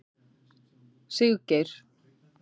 Siggeir